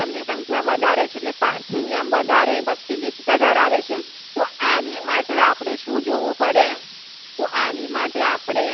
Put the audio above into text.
સંખ્યા વધારે છે. એટલે પારથી નિયમ વધારે ગીચતા ધરાવે છે. તો આની માટે આપણે શું જોવું પડે તો આની માટે આપણે